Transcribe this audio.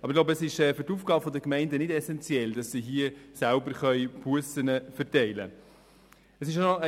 Aber ich glaube, für die Aufgabe der Gemeinde ist es nicht essenziell, hier selber Bussen verteilen zu können.